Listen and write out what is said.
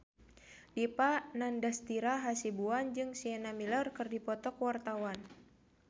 Dipa Nandastyra Hasibuan jeung Sienna Miller keur dipoto ku wartawan